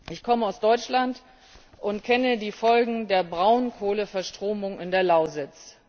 Ich komme aus Deutschland und kenne die Folgen der Braunkohleverstromung in der Lausitz.